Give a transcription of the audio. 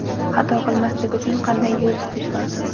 Xato qilmaslik uchun qanday yo‘l tutish lozim?